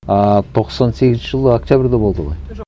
ыыы тоқсан сегізінші жылы октябрьда болды ғой жоқ